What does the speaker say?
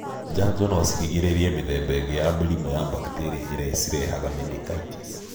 Njanjo no cirigĩrĩrie mĩthemba ĩngĩ ya mĩrimũ ya bacterio iria cirehaga menengitis.